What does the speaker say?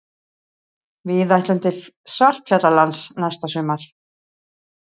Við ætlum til Svartfjallalands næsta sumar.